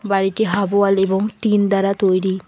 বাড়িটি half wall এবং tin দ্বারা তৈরি।